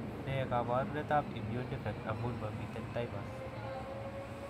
Ne kaabarunetap Immune defect amun mamiten of thymus?